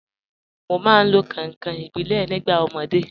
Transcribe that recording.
Mo máa ń lo kànkàn ìbílẹ̀ nígbà ọmọdé.